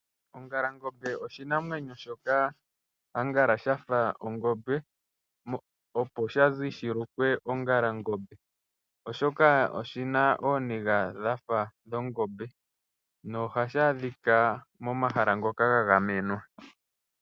Ongalangombe oshinamwenyo shoka angala shafa ongombe opo shazi shilukwe ongalangombe oshoka oshina ooniga dhafa dhongombe. Ohashi adhika momahala ngoka gagamenwa.